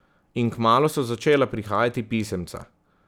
In kmalu so začela prihajati pisemca.